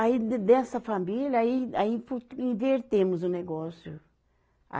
Aí de dessa família, aí, aí invertemos o negócio.